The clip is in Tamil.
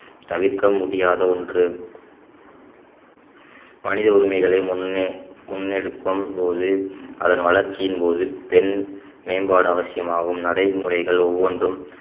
தவிர்க்க முடியாத ஒன்று மனித உரிமைகளை முன்னே~ முன்னெடுக்கும்போது அதன் வளர்ச்சியின் போது பெண் மேம்பாடு அவசியமாகும் நடைமுறைகள் ஒவ்வொன்றும்